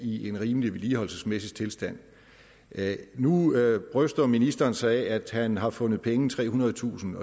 i en rimelig vedligeholdelsesmæssig tilstand nu bryster ministeren sig af at han har fundet penge trehundredetusind